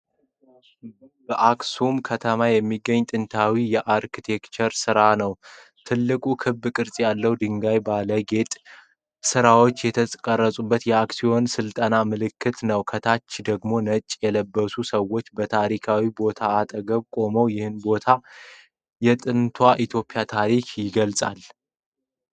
በአክሱም ከተማ የሚገኝ ጥንታዊ የአርኪቴክቸር ሥራ ነው። ትልቁ ክብ ቅርጽ ያለው ድንጋይ ባለ የጌጥ ሥራዎች የተቀረጸበት የአክሱም ሥልጣኔ ምልክት ነው። ከታች ደግሞ ነጭ የለበሱ ሰዎች በታሪካዊው ቦታ አጠገብ ቆመዋል። ይህ ቦታ የጥንቷ ኢትዮጵያን ታሪክ ይገልጻል።